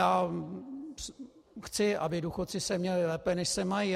Já chci, aby důchodci se měli lépe, než se mají.